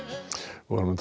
þá